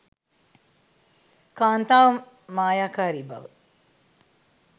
කාන්තාව මායාකාරී බව